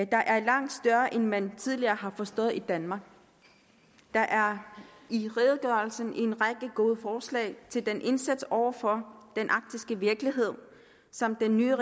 der er langt større end man tidligere har forstået i danmark der er i redegørelsen en række gode forslag til den indsats over for den arktiske virkelighed som den nye